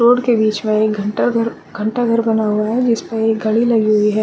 Road के बीच में घंटा घंटा घर बना हुआ है जिस में एक घड़ी लगी हुई है।